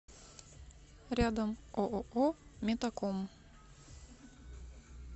рядом ооо метаком